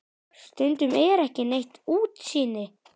Stundum er ekki neitt útsýni!